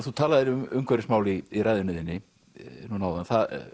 þú talaðir um umhverfismál í ræðunni þinni núna áðan